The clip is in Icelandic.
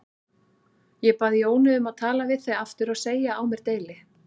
Ég bað Jónu um að tala við þig aftur og segja á mér deili.